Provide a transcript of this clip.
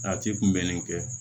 A ci kun bɛnnen tɛ